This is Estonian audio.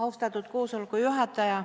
Austatud juhataja!